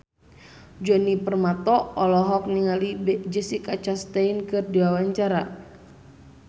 Djoni Permato olohok ningali Jessica Chastain keur diwawancara